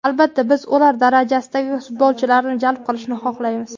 Albatta, biz ular darajasidagi futbolchilarni jalb qilishni xohlaymiz.